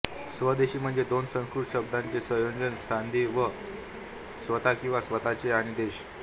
स्वदेशी म्हणजे दोन संस्कृत शब्दांचे संयोजन सांधी स्व स्वत किंवा स्वतःचे आणि देश